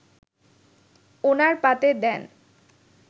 ওনার পাতে দেন